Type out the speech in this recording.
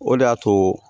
O de y'a to